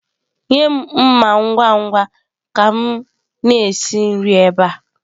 Nye m mma ngwa ngwa ka m na-esi nri ebe a!.